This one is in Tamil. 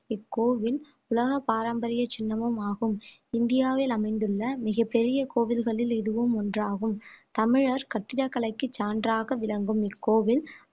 இக்கோவில் உலக பாரம்பரிய சின்னமும் ஆகும் இந்தியாவில் அமைந்துள்ள மிகப் பெரிய கோவில்களில் இதுவும் ஒன்றாகும் தமிழர் கட்டிடக்கலைக்கு சான்றாக விளங்கும் இக்கோவில்